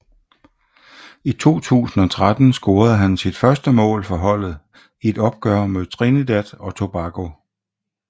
I 2013 scorede han sit første mål for holdet i et opgør mod Trinidad og Tobago